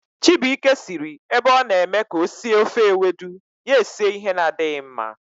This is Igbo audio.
Chibuike siri ebe ọ na eme ka o sie ofe ewedu, ya esie ihe na-adịghi mma